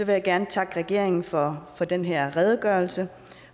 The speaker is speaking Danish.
jeg gerne takke regeringen for den her redegørelse